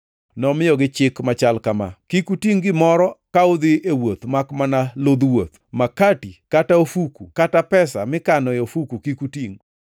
Nomiyogi chik machal kama: “Kik utingʼ gimoro ka udhi e wuoth makmana ludh wuoth. Makati, kata ofuku kata pesa mikano e ofuku kik utingʼ.